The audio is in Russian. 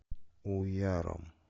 уяром